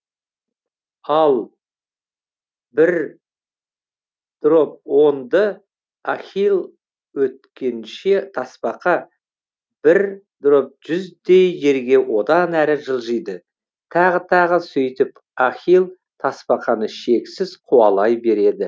ал бір дроб онды ахилл өткенше тасбақа бір дроб жүздей жерге одан әрі жылжиды тағы тағы сөйтіп ахилл тасбақаны шексіз қуалай береді